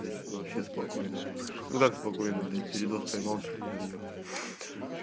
блять вообще спокойно на ну как спокойно блять передоз поймал чуть ли не отъехал